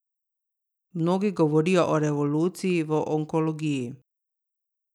Mnogi govorijo o revoluciji v onkologiji.